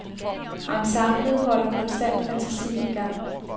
Ensemblet holder konstant fantasien i gang.